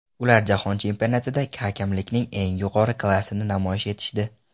Ular jahon chempionatida hakamlikning eng yuqori klassini namoyish etishdi.